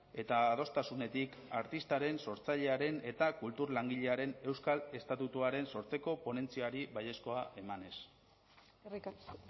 eta adostasunetik artistaren sortzailearen eta kultur langilearen euskal estatutuaren sortzeko ponentziari baiezkoa emanez eskerrik asko